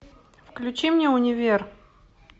включи мне универ